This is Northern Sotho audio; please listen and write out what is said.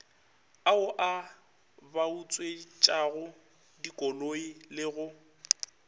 ao a bautswetšagodikoloi le go